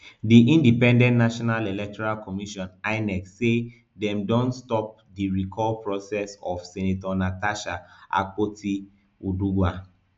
di independent national electoral commission inec say dem don stop di recall process of senator natasha akpotiuduaghan